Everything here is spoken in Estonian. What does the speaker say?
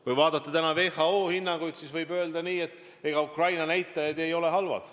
Kui vaadata WHO hinnanguid, siis võib öelda, et Ukraina näitajad ei ole halvad.